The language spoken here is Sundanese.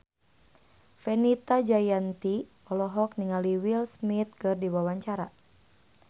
Fenita Jayanti olohok ningali Will Smith keur diwawancara